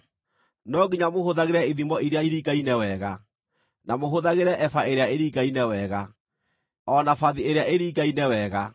No nginya mũhũthagĩre ithimo iria iringaine wega, na mũhũthagĩre eba ĩrĩa ĩringaine wega, o na bathi ĩrĩa ĩringaine wega.